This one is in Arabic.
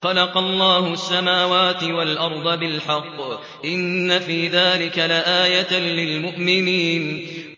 خَلَقَ اللَّهُ السَّمَاوَاتِ وَالْأَرْضَ بِالْحَقِّ ۚ إِنَّ فِي ذَٰلِكَ لَآيَةً لِّلْمُؤْمِنِينَ